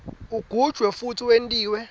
ugujwe futsi wentiwe